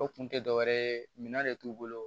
O kun tɛ dɔwɛrɛ ye minan de t'u bolo